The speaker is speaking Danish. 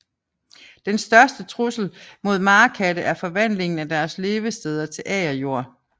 Den største trussel mod marekatte er forvandlingen af deres levesteder til agerjord